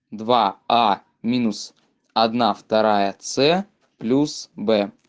два а минус одна вторая ц плюс б